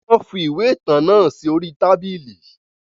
Wọn fi ìwé ìtàn náà sì orí tábìlì